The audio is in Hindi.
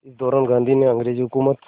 इसी दौरान गांधी ने अंग्रेज़ हुकूमत